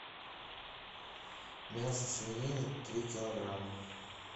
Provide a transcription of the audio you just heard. мясо свинины три килограмма